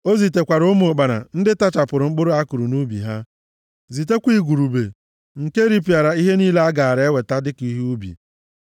O zitekwara ụmụ ụkpana ndị tachapụrụ mkpụrụ a kụrụ nʼubi ha, zitekwa igurube nke ripịara ihe niile a gaara eweta dịka ihe ubi.